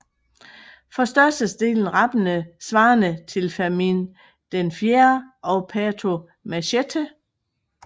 For størstedelen rappende svarende til Fermin IV og Pato Machete